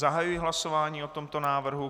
Zahajuji hlasování o tomto návrhu.